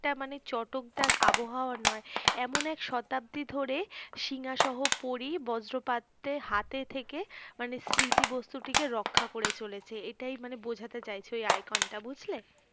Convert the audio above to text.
মানে চটকদার আবহাওয়া নয় এমন এক শতাব্দী ধরে সিঙ্ঘাসহ পরী ব্জ্রপাতের হাতে থেকে মানে স্মৃতি বস্তুটিকে রক্ষা করে চলেছে এটাই মানে বোঝাতে চাইছে ঐ icon বুঝলে?